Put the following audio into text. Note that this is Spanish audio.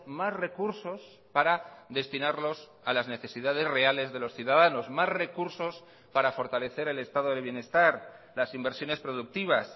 más recursos para destinarlos a las necesidades reales de los ciudadanos más recursos para fortalecer el estado de bienestar las inversiones productivas